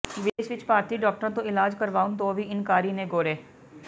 ਵਿਦੇਸ਼ ਵਿੱਚ ਭਾਰਤੀ ਡਾਕਟਰਾਂ ਤੋਂ ਇਲਾਜ ਕਰਵਾਉਣ ਤੋਂ ਵੀ ਇਨਕਾਰੀ ਨੇ ਗੋਰੇ